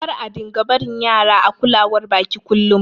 Kar a dinga barin Yara a kulawar baƙi ƙullum.